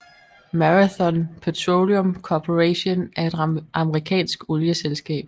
Marathon Petroleum Corporation er et amerikansk olieselskab